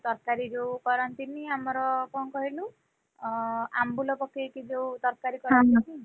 ତରକାରୀ ଯୋଉ କରନ୍ତିନି ଆମର କଣ କହିଲୁ, ଅଁ ଆମ୍ବୁଲ ପକେଇ କି ଯୋଉ ତରକାରୀ କରନ୍ତିନି